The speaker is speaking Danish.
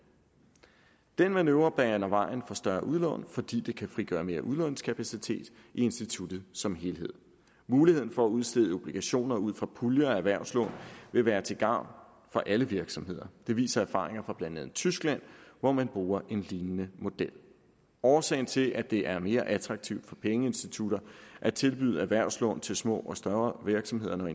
den manøvre baner vejen for større udlån fordi det kan frigøre mere udlånskapacitet i instituttet som helhed muligheden for at udstede obligationer ud fra puljer af erhvervslån vil være til gavn for alle virksomheder det viser erfaringer fra blandt andet tyskland hvor man bruger en lignende model årsagen til at det er mere attraktivt for pengeinstitutter at tilbyde erhvervslån til små og større virksomheder